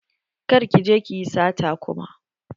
Kar ki je ki yi sata kuma.